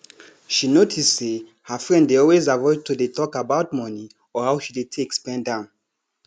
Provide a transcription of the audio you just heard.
she notice say her friend dey always avoid to dey talk about money or how she dey take spend am